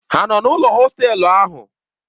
Ha nọ n'ụlọ hostelu ha?